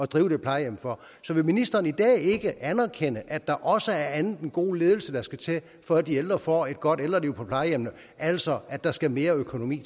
drive det plejehjem for end så vil ministeren i dag ikke anerkende at der også er andet end god ledelse der skal til for at de ældre får et godt ældreliv på plejehjemmene altså at der skal mere økonomi